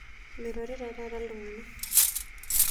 Meirorita taata ltungana